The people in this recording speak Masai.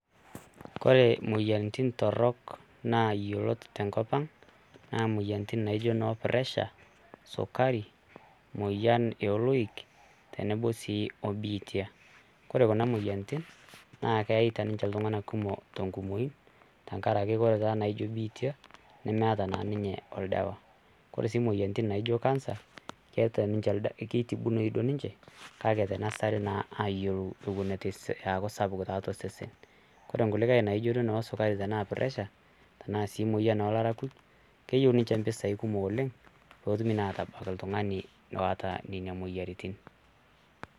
Ore imoyiaritin torrok na yiolot tenkop ang',na moyiaritin naijo noo pressure ,sukari, moyian e oloik tenebo si obiitia. Kore kuna moyiaritin, na keita ninche iltung'anak kumok tenkumoyu, tankaraki ore taa naijo biitia, nemeeta na ninye oldawa. Kore si moyiaritin naijo cancer, keeta ninche kitibunoyu duo ninche, kake tanasari naa ayiou teneser aaku sapuk tiatua osesen. Kore nkulikai naijo noo sukari tenaa pressure ,tenaa si moyian olarakuj, keyieu ninche mpisai kumok oleng', petumi naa atabak oltung'ani oota nina moyiaritin.